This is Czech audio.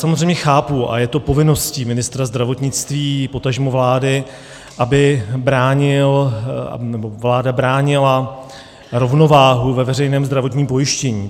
Samozřejmě chápu - a je to povinností ministra zdravotnictví, potažmo vlády, aby bránil, nebo vláda bránila, rovnováhu ve veřejném zdravotním pojištění.